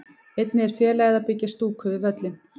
Einnig er félagið að byggja stúku við völlinn.